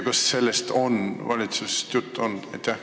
Kas valitsuses on sellest juttu olnud?